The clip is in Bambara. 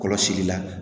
Kɔlɔsili la